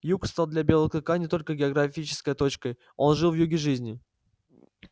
юг стал для белого клыка не только географической точкой он жил в юге жизни